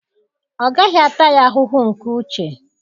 Ọ gaghị ata ya ahụhụ nke uche.